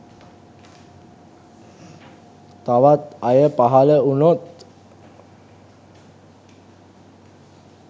තවත් අය පහල වුනොත්